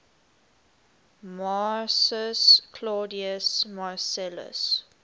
marcus claudius marcellus